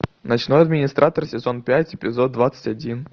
ночной администратор сезон пять эпизод двадцать один